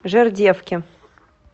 жердевки